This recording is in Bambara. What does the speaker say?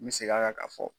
N bɛ segin a kan ka fɔ